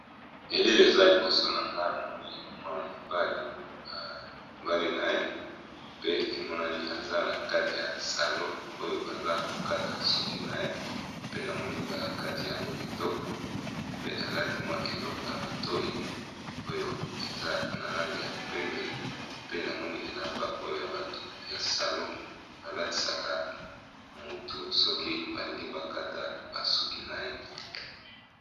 Elili eza liboso ngai namoni mwana mobali aza nakati ya salon bazo kataye suki pe namoni bakatiye suki kitoko makasi